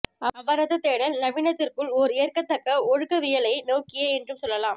அவரது தேடல் நவீனத்துவத்திற்குள் ஓர் ஏற்கத்தக்க ஒழுக்கவியலை நோக்கியே என்றும் சொல்லலாம்